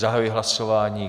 Zahajuji hlasování.